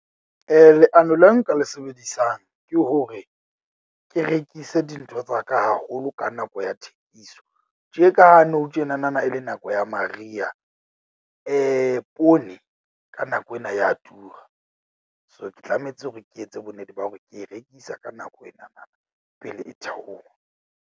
Leano le nka le sebedisang ke hore ke rekise dintho tsa ka haholo ka nako ya thekiso. Tje ka ha nou tjena na e le nako ya mariha. Poone ka nako ena ya tura. So, ke tlametse hore ke etse bonnete ba hore ke e rekisa ka nako ena na pele e theoha.